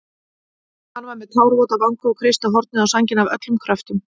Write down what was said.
Hann var með tárvota vanga og kreisti hornið á sænginni af öllum kröftum.